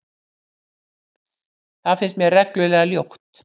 Það finnst mér reglulega ljótt.